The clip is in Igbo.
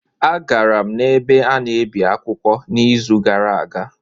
Agara m n'ebe a na-ebi akwụkwọ n'izu gara aga